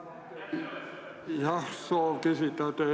Jah, on soov küsida.